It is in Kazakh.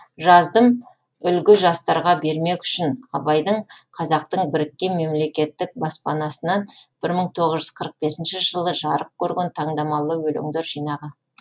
жаздым үлгі жастарға бермек үшін абайдың қазақтың біріккен мемлекеттік баспасынан мың тоғыз жүз қырық бесінші жылы жарық көрген таңдамалы өлеңдер жинағы